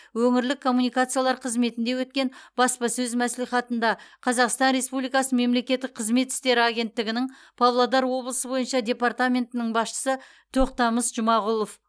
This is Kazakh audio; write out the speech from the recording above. өңірлік коммуникациялар қызметінде өткен баспасөз мәслихатында қазақстан республикасы мемлекеттік қызмет істері агенттігінің павлодар облысы бойынша департаментінің басшысы тоқтамыс жұмағұлов